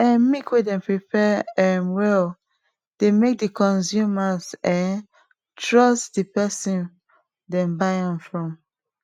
um milk wey dem prepare um well dey make the consumers um trust de person dem buy am from